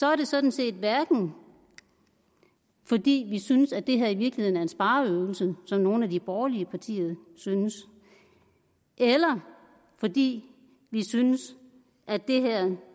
er det sådan set hverken fordi vi synes at det her i virkeligheden er en spareøvelse som nogle af de borgerlige partier synes eller fordi vi synes at det her